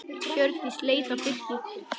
Hjördís leit á Birki.